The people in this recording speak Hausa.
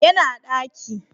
Ya na daki